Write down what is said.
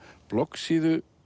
bloggsíðu